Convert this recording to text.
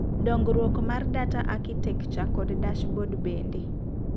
dongruok mar data architecture kod dashboard bende